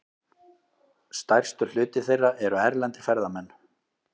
Stærstur hluti þeirra eru erlendir ferðamenn.